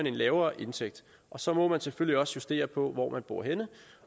en lavere indtægt og så må man selvfølgelig også justere på hvor man bor henne